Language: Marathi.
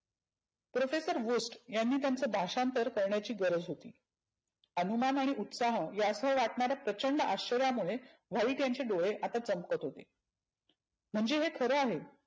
profesore host यांनी त्यांच भाषांतर करण्याची गरज होती. हानुमान आणि उत्साह याच वाटनार प्रचंड अश्चर्यामुळे व्हाईट यांचे डोळे आता चमकत होते. म्हणजे हे खरं आहे.